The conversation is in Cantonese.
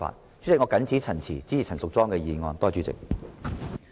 代理主席，我謹此陳辭，支持陳淑莊議員的議案。